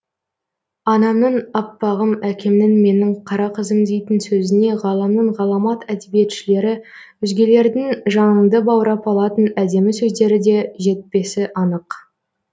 анамның аппағым әкемнің менің қара қызым дейтін сөзіне ғаламның ғаламат әдебиетшілері өзгелердің жаныңды баурап алатын әдемі сөздері де жетпесі анық